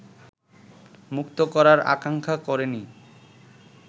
মুক্ত করার আকাঙ্ক্ষা করেনি